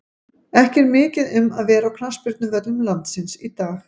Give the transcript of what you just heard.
Ekki er mikið um að vera á knattspyrnuvöllum landsins í dag.